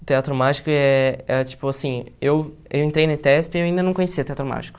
O Teatro Mágico é é, tipo assim, eu eu entrei no ETESP e eu ainda não conhecia o Teatro Mágico.